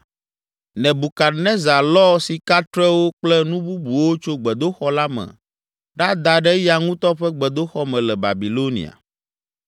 Nebukadnezar lɔ sikatrewo kple nu bubuwo tso gbedoxɔ la me ɖada ɖe eya ŋutɔ ƒe gbedoxɔ me le Babilonia.